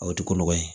O ti ko nɔgɔ ye